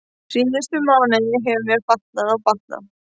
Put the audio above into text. Síðustu mánuði hefur mér batnað og batnað.